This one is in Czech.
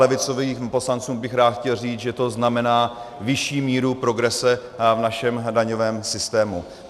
Levicovým poslancům bych rád chtěl říct, že to znamená vyšší míru progrese v našem daňovém systému.